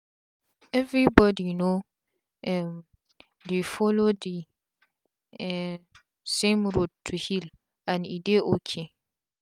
everi bodi no um dey follow d um same road to heal and e dey ok